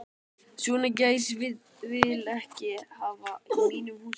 Svona gæs vil ég ekki hafa í mínum húsum.